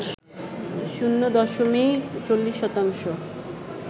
শূণ্য দশমিক ৪০ শতাংশ